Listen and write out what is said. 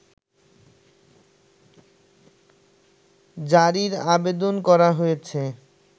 জারির আবেদন করা হয়েছে